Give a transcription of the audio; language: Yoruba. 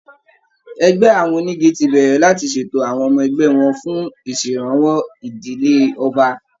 Ẹgbẹ́ àwọn onígi ti bẹ̀rẹ̀ láti ṣètò àwọn ọmọ ẹgbẹ́ wọn fún ìṣèrànwọ́ ìdílé ọba